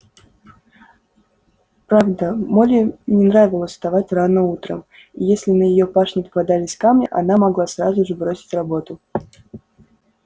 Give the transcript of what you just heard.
правда молли не нравилось вставать рано утром и если на её пашне попадались камни она могла сразу же бросить работу